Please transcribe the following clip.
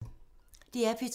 DR P2